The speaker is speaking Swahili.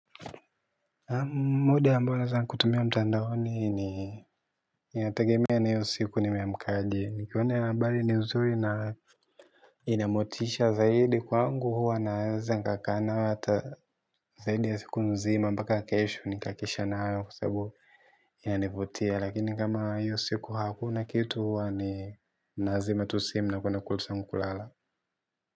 Muda ambao naeza kutumia mtandaoni ni inategemea na hiyo siku nimeamkaje nikiwa na io ambari nizuri na inamotisha zaidi kwangu, huwa naeza nkakaa nayo hata zaidi ya siku nzima mbaka kesho nikakesha nayo, sabu inanivutia lakini kama hiyo siku hakuna kitu huwa ni nazima tusimu na kwena kulusa ama kulala.